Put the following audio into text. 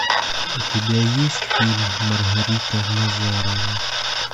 у тебя есть фильм маргарита назарова